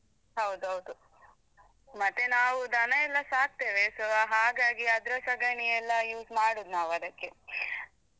ಹೌದೌದು ಮತ್ತೆ ನಾವೂ ದನ ಎಲ್ಲಾ ಸಾಕ್ತೇವೆ so ಹಾಗಾಗಿ ಅದ್ರ ಸಗಣಿಯೆಲ್ಲಾ use ಮಾಡುದ್ ನಾವ್ ಅದಕ್ಕೆ.